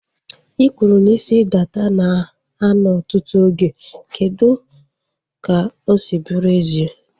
I kwụrụ na isi dada na a nọ ọtụtụ oge. Kedụ ka ọ si bụrụ ezie?